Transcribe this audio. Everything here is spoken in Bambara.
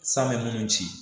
San bɛ minnu ci